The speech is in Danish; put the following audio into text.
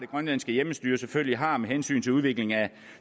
grønlandske hjemmestyre selvfølgelig har med hensyn til udviklingen af